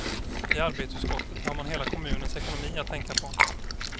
I arbetsutskottet har man hela kommunens ekonomi att tänka på.